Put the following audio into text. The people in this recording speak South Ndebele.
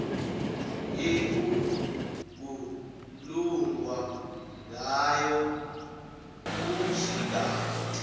ekukhulunywa ngayo kusigaba